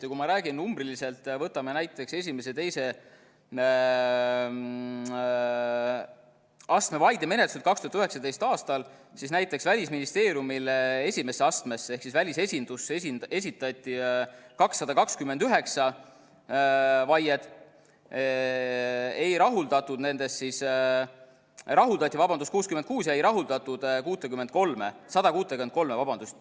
Ja kui ma räägin numbriliselt, võtame näiteks esimese ja teise astme vaidemenetluse 2019. aastal, siis näiteks Välisministeeriumile esimesse astmesse ehk siis välisesindusse esitati 229 vaiet, nendest rahuldati 66 ja ei rahuldatud 163.